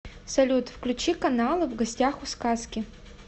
салют включи каналы в гостях у сказки